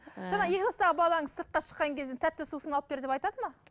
ыыы жаңа екі жастағы балаңыз сыртқа шыққан кезде тәтті сусын алып бер деп айтады ма